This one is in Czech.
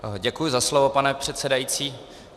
Děkuji za slovo, pane předsedající.